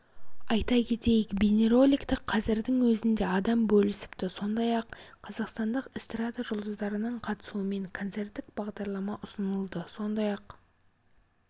айта кетейік бейнероликті қазірдің өзінде адам бөлісіпті сондай-ақ қазақстандық эстрада жұлдыздарының қатысуымен концерттік бағдарлама ұсынылады сондай-ақ